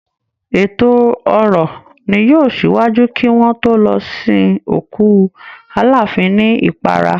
Èto orò ni yóò ṣíwájú kí wọ́n tó lọ sin òkú Aláàfin ní Ìparà